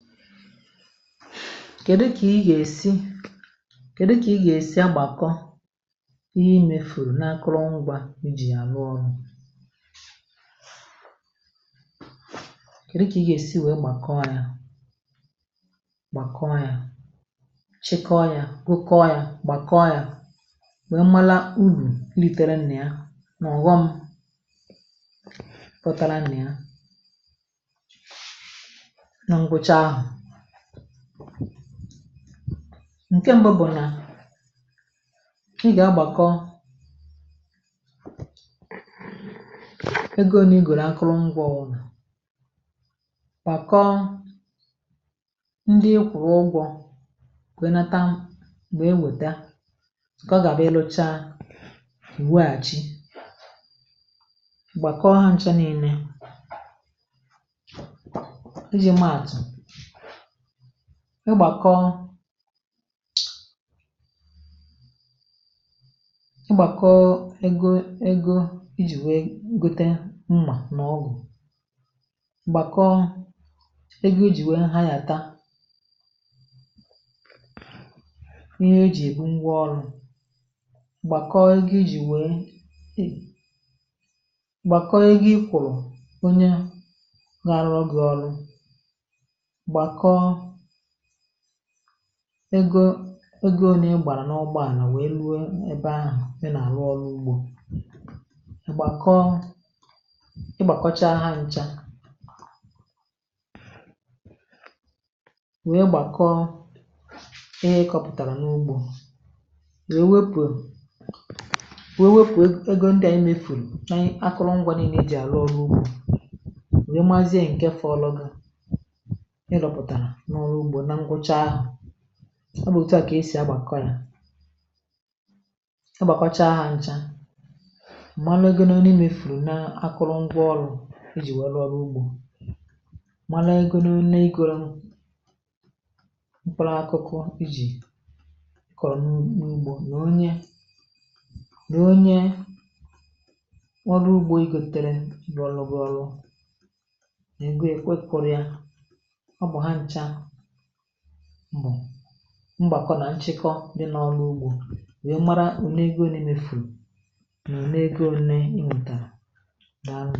Kèdu kà ị gà-èsi kèdu kà ị gà-èsi agbàkọ ihe imefùrù na akụrụngwa ijì àrụ ọrụ kèdu kà ị gà-èsi nwèe gbàkọọ yȧ gbàkọọ yȧ, chịkọọ yȧ, wokeọ yȧ, gbàkọọ yȧ nwèe mala urù litere nịà n’ọ̀ghọ̇m pụtara nịà na gwụcha ahọ ǹke m̀bụ bụ̀ nà ị gà-agbàkọ ego ole igòrò akụrụngwọ ọ wụ̀ nà, gbàkọ ndị ị kwụ̀rụ̀ ụgwọ̇ nwee nata nwee weta nke ọ ga bụ̀ịlụchaa ewèghachị ị gbàkọọ hȧ ncha niilė ị ji maatụ ị gbàkọ ị gbàkọ egȯ egȯ i jì nwee gote mmà n’ọgụ̀ gbàkọ ego ị jì nwee anyàta ihe e jì èbu ngwa ọrụ,̇ gbàkọ ego i jì nwee e gbàkọ ego ị kwụ̀rụ̀ onye ga arụrụ gị ọrụ, gbàkọ ego ego o nà-ègbàrà n’ọgbọ ànà wèe rụọ ebe ahụ ị nà-àlụ ọrụ ugbȯ, igbàkọọ igbàkọchaa ha ncha wèe gbàkọọ ihe ị kọpụ̀tàrà n’ugbȯ wèe wepù wewepù egȯ ndị̇ à emefùrù nà ị akụrụngwa niilė ị ji àlụ ọrụ ugbȯ wèe mazie ǹke fọlụ gụ ị rụpụtara na ọrụ ụgbọ nà nkwucha ahọ, ọ bụ̀ òtu à kà esì agbàkọ̀yà agbàkọ̀cha hȧ ncha malụ egȯ nà one mefùrù n’akụrụ ngwọ ọrụ̇ ejì nwèe rụọ ọrụ ugbȯ, malụ egȯ nà one i gọrọ mkpụrụ akụkụ i jì kọ̀rọ̀ n’ugbȯ nà onye nà onye ọrụ ugbȯ ịgȯtere rụọ ọlụ gụ ọrụ nà ego ya ekwe kụ̀rị̀a. Ọ bụ hacha bú mgbàkọ nà nchịkọ dị n’ọlụ̇ ugbȯ wee mara onego one imefùrù n’onego onė ịntara. dàalụnu